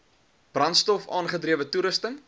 brandstof aangedrewe toerusting